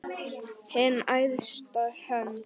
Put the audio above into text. Hin æðsta hönd.